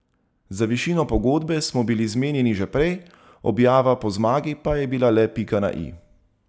Za višino pogodbe smo bili zmenjeni že prej, objava po zmagi je bila le pika na i.